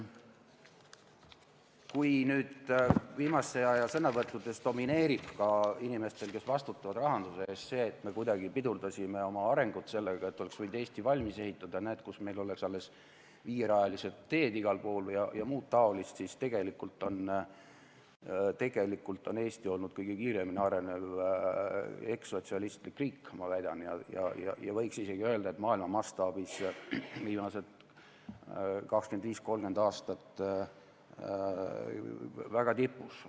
Kui viimase aja sõnavõttudes domineerib ka inimestel, kes vastutavad rahanduse eest, see, et me kuidagi pidurdasime oma arengut, aga oleks võinud Eesti valmis ehitada, et kus meil oleks siis alles viierajalisi teid igal pool ja muud taolist, siis tegelikult on Eesti olnud kõige kiiremini arenev ekssotsialistlik riik, ma väidan, ja võiks isegi öelda, et ta on maailma mastaabis viimased 25–30 aastat olnud tipus.